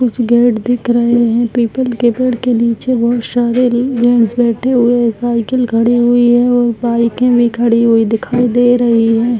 कुछ गेट दिख रहे है पीपल के पेड़ के नीचे बोहत सारे जेंट्स बैठे हुए है साइकिल खड़ी हुई है और बाइक भी खड़ी हुई दिखाई दे रही है।